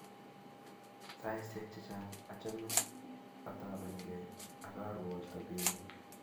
Saisyek chechang' achame ataban key ak arwoch sobennyu.